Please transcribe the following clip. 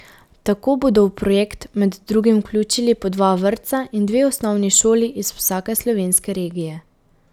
Tako bodo v projekt med drugim vključili po dva vrtca in dve osnovni šoli iz vsake slovenske regije.